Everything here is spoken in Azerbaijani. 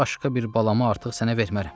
Başqa bir balamı artıq sənə vermərəm.